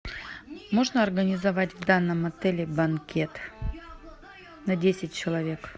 можно организовать в данном отеле банкет на десять человек